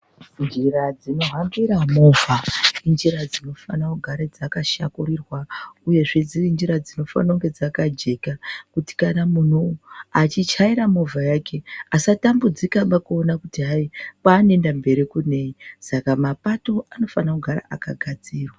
Njira dzinohambire movha ,injira dzinofanirwe kugara dzakashakurirwa uyezve dziri njira dzinofanirwa kunge dzakajeka kuitria kuti kana munhu achichaira movha yake asatambudzika kuona kwanoenda kumberi kunei ,saka mapato anofanirwa kugara akagadzirwa.